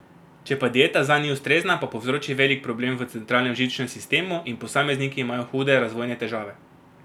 Če pa dieta zanj ni ustrezna, pa povzroči velik problem v centralnem živčnem sistemu in posamezniki imajo hude razvojne težave.